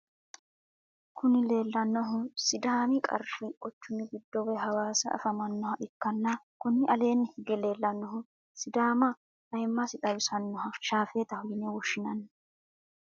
Kuni lelnanohu sidaami qarri quchumi gido woyi Hawassa afamanoha ikana kuni alenni higge lelanohu sidaama ayimassi tawisanoha shafetaho yine woshshinani.